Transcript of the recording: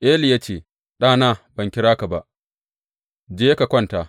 Eli ya ce, Ɗana ban kira ba, je ka kwanta.